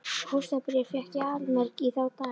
Hótunarbréf fékk ég allmörg í þá daga.